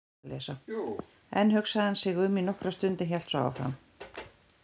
Enn hugsaði hann sig um í nokkra stund en hélt svo áfram